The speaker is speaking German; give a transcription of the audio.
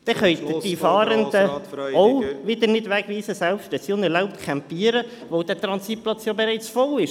Dann können Sie die Fahrenden auch wieder nicht wegweisen, selbst wenn sie unerlaubt campieren, weil der Transitplatz ja bereits voll ist.